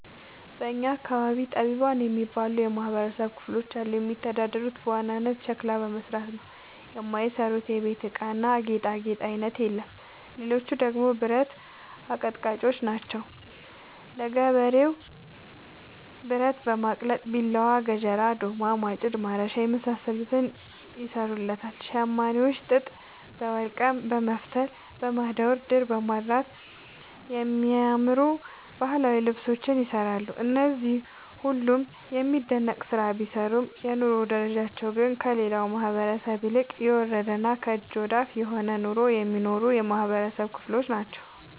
በእኛ አካባቢ ጠቢባን የሚባሉ የማህበረሰብ ክፍሎች አሉ። የሚተዳደሩት በዋናነት ሸክላ በመስራት ነው። የማይሰሩት የቤት እቃና ጌጣጌጥ አይነት የለም ሌቹ ደግሞ ብረት አቀጥቃጭጮች ናቸው። ለገበሬው ብረት በማቅለጥ ቢላዋ፣ ገጀራ፣ ዶማ፣ ማጭድ፣ ማረሻ የመሳሰሉትን ይሰሩለታል። ሸማኔዎች ጥጥ በወልቀም በመፍተል፣ በማዳወር፣ ድር በማድራት የሚያማምሩ ባህላዊ ልብሶችን ይሰራሉ። እነዚህ ሁሉም የሚደነቅ ስራ ቢሰሩም የኑሮ ደረጃቸው ግን ከሌላው ማህበረሰብ ይልቅ የወረደና ከእጅ ወዳፍ የሆነ ኑሮ የሚኖሩ የማህበረሰብ ክሎች ናቸው።